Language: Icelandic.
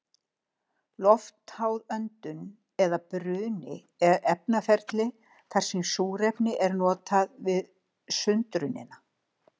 Loftháð öndun eða bruni er efnaferli þar sem súrefni er notað við sundrunina.